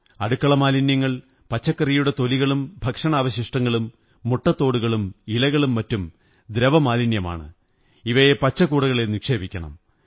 അടുക്കള മാലിന്യങ്ങൾ പച്ചകറിയുടെ തൊലികളും ഭക്ഷണാവശിഷ്ടങ്ങളും മുട്ടത്തോടുകളും ഇലകളും മറ്റും ദ്രവമാലിന്യങ്ങളാണ് ഇവയെ പച്ച കൂടകളിൽ നിക്ഷേപിക്കണം